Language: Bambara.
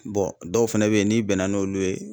dɔw fɛnɛ be ye n'i bɛnna n'olu ye